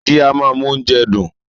Magí a máa mú oúnjẹ dùn.